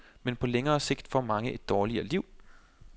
Men på længere sigt får mange et dårligere liv.